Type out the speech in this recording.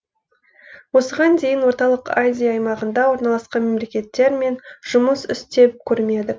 осыған дейін орталық азия аймағында орналасқан мемлекеттермен жұмыс істеп көрмедік